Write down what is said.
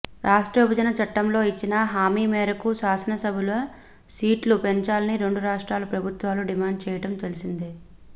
రాష్ట్ర విభజన చట్టంలో ఇచ్చిన హామీ మేరకు శాసనసభల సీట్లు పెంచాలని రెండు రాష్ట్రాల ప్రభుత్వాలు డిమాండ్ చేయటం తెలిసిందే